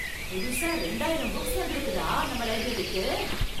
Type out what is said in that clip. புதுசா ரெண்டாயிரம் புக்ஸ் வந்திருக்குதா நம்ம லைப்ரரிக்கு!